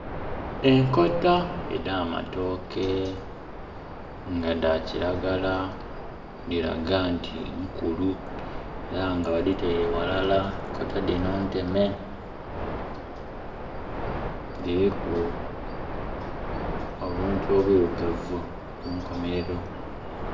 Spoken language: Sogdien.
Enkota edh'amatooke nga dha kiragala dhiraga nti nkulu era nga badhitaile ghalala, enkota dhino nteme, diriku obuntu obwirugavu ku nkomerero.